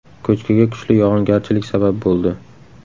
Ko‘chkiga kuchli yog‘ingarchilik sabab bo‘ldi.